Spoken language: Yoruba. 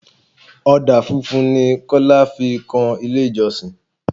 Ọdà funfun ni Kọ́lá fi kun ilé ìjọsìn.